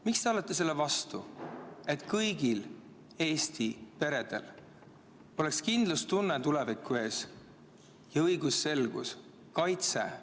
Miks te olete selle vastu, et kõigil Eesti peredel oleks kindlustunne tuleviku ees ja õigusselgus, kaitse?